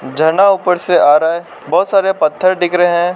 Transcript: झरना ऊपर से आ रहा है बहोत सारे पत्थर दिख रहे हैं।